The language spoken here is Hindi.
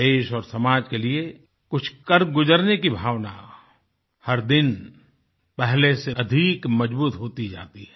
देश और समाज के लिए कुछ कर गुजरने की भावना हर दिन पहले से अधिक मजबूत होती जाती है